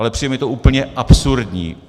Ale přijde mi to úplně absurdní.